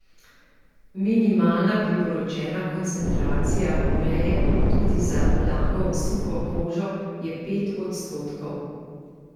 Minimalna priporočena koncentracija uree, tudi za blago suho kožo, je pet odstotkov.